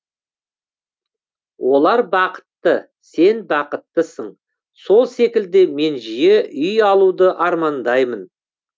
олар бақытты сен бақыттысың сол секілді мен жиі үй алуды армандаймын